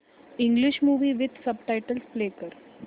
English movie with subtitles play कर